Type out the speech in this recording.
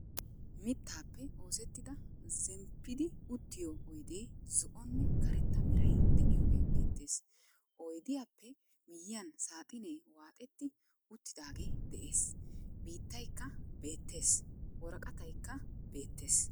Mittaappe oosettida zemppidi uttiyo oydee zo"onne karetta meray de'iyogee beettees. Oydiyappe miyyiyan saaxinnee waaxetti uttidaage de'ees. Biittaykkay beettees. Worqqattaykka beettees.